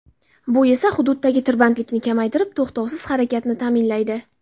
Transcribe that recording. Bu esa xududdagi tirbandlikni kamaytirib to‘xtovsiz harakatni ta’minlaydi.